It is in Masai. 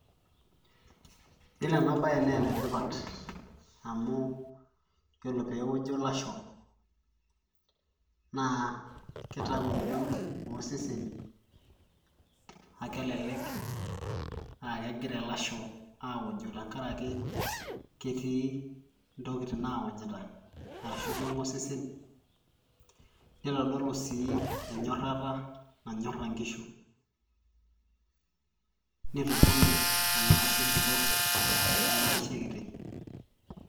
yiolo enabaye naa enetipat amu yiolo pewojo ilasho naa kitau eng'ion oseseni akelelek akegira ilasho awojo tenkarake ketii intokitin nawonyita arashu keng'e osesen nitodolu sii enyorrata nanyorra inkishu nitubula ena ashe botorr ena ashe kiti.